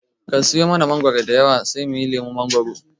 Ka siya mangoro diyawa sai muyi lemon mangoro.